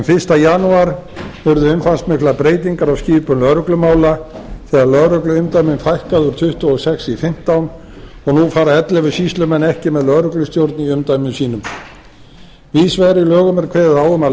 fyrsta janúar urðu umfangsmiklar breytingar á skipun lögreglumála þegar lögregluumdæmum var fækkað úr tuttugu og sex í fimmtán og nú fara ellefu sýslumenn ekki með lögreglustjórn í umdæmum sínum víðs vegar í lögum er kveðið á um að